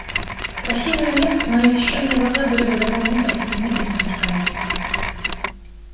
красиво или нет но незащищенные глаза были бы за полминуты ослеплены этим сверканием